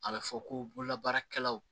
A bɛ fɔ ko bololabaarakɛlaw